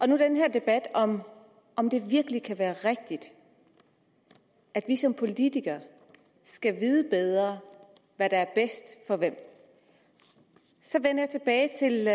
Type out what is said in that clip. den her debat om om det virkelig kan være rigtigt at vi som politikere skal vide bedre hvad der er bedst for hvem så vender jeg tilbage til